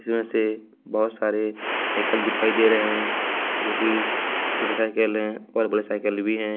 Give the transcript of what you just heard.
इसमें से बहुत सारे साइकिल दिखाई दे रहे हैं जो कि छोटा साइकिल है और बड़ा साइकिल भी हैं।